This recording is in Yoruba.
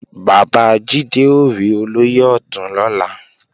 Bàbá Jídé ó rí Olóyè Ọ̀tún lọ́la